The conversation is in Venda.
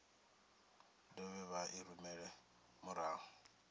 dovhe vha i rumele murahu